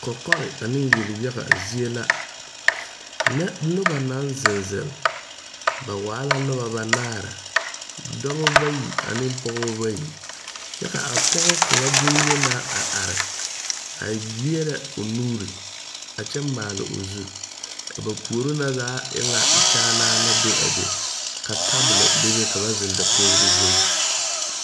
Kɔkɔre ane yelyaga zie la nyɛ noba naŋ zeŋ zeŋ ba Waala noba banaare dɔbɔ bayi ane pɔgeba bayi kyɛ ka a pɔge kaŋa bonyenaa a are a leɛrɛ o nuuri a kyɛ maale o zu a ba puori na zaa e ŋa kyaanaa la be a be ka tabolo bebe ka na zeŋ dakogri zuŋ.